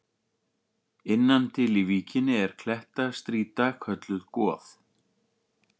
Innan til í víkinni er klettastrýta kölluð Goð.